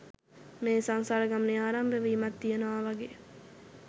මේ සංසාර ගමනේ ආරම්භ වීමක් තියෙනවා වගේ